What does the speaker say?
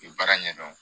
U baara ɲɛdɔn